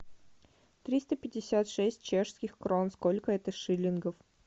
триста пятьдесят шесть чешских крон сколько это шиллингов